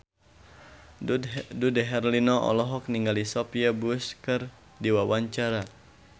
Dude Herlino olohok ningali Sophia Bush keur diwawancara